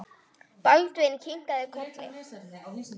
Baldvin kinkaði kolli.